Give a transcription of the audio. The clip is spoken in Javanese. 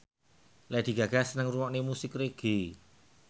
Lady Gaga seneng ngrungokne musik reggae